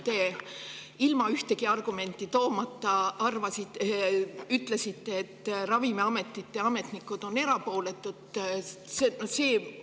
Te ilma ühtegi argumenti toomata ütlesite, et ravimiametite ametnikud on.